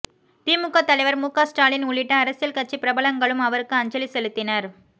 திமுக தலைவர் முக ஸ்டாலின் உள்ளிட்ட அரசியல் கட்சி பிரபலங்களும் அவருக்கு அஞ்சலி செலுத்தினர்